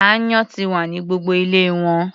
Aáyán ti wà ní gbogbo ilé wọn.